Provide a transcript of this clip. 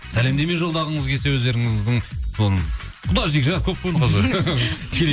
сәлемдеме жолдағыңыз келсе өздеріңіздің м құда жекжат көп қой